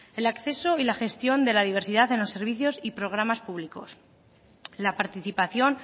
el acceso y la gestión de la diversidad en los servicios y programas públicos la participación